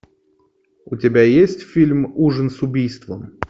у тебя есть фильм ужин с убийством